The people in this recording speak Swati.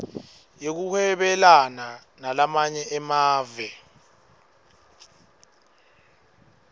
yekuhwebelana nalamanye emave